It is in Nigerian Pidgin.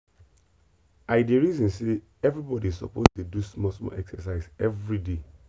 i dey reason say everybody suppose dey do small small exercise everyday.